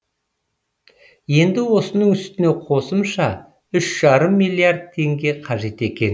енді осының үстіне қосымша үш жарым миллиард теңге қажет екен